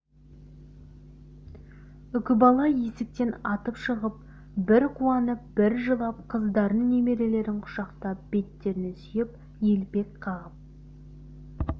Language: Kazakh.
үкібала есіктен атып шығып бір қуанып бір жылап қыздарын немерелерін құшақтап беттерінен сүйіп елпек қағып